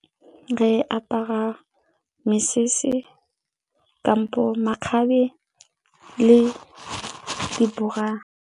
Re apara mesese kampo makgabe le di-bra.